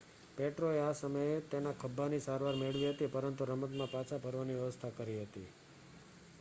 પેટ્રોએ આ સમયે તેના ખભ્ભાની સારવાર મેળવી હતી પરંતુ રમતમાં પાછા ફરવાની વ્યવસ્થા કરી હતી